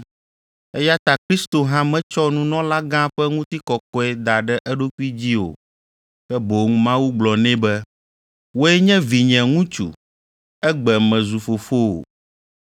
Eya ta Kristo hã metsɔ nunɔlagã ƒe ŋutikɔkɔe da ɖe eɖokui dzi o ke boŋ Mawu gblɔ nɛ be, “Wòe nye vinye ŋutsu, egbe mezu fofowò.”